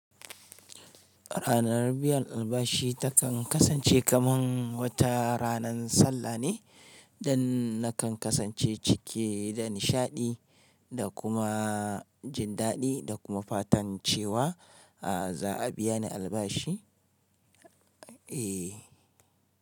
Ranan biyan albashi ta kan kasance kaman wata ranan sallah ne, dan na kan kasance cike da nishaɗi da kuma jin daɗi da kuma fatan cewa za a biya ni albashi. Eh.